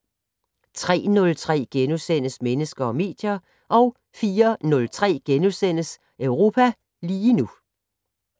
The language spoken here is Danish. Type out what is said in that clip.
03:03: Mennesker og medier * 04:03: Europa lige nu *